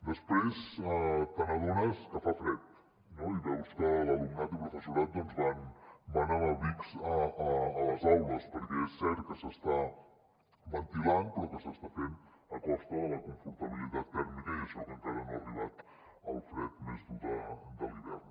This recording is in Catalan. després t’adones que fa fred no i veus que alumnat i professorat van amb abrics a les aules perquè és cert que s’està ventilant però s’està fent a costa de la confortabilitat tèrmica i això que encara no ha arribat el fred més dur de l’hivern